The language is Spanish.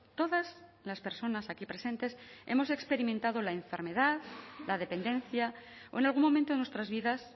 todas las personas aquí presentes hemos experimentado la enfermedad la dependencia o en algún momento de nuestras vidas